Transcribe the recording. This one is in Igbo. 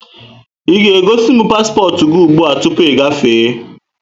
Ị ga-egosimu paspọtụ gị ụgbụa tụpụ ị gafee!